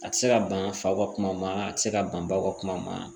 A tɛ se ka ban fa ka kuma ma a tɛ se ka ban ba kuma ma